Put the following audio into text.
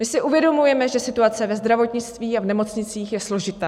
My si uvědomujeme, že situace ve zdravotnictví a v nemocnicích je složitá.